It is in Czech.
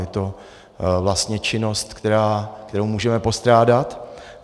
Je to vlastně činnost, kterou můžeme postrádat.